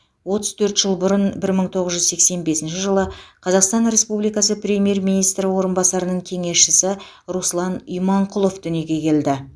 отыз төрт жыл бұрын бір мың тоғыз жүз сексен бесінші жылы қазақстан республикасы премьер министр орынбасарының кеңесшісі руслан иманқұлов дүниеге келді